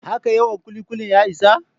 Haka yawan ƙuli-ƙuli ya isa?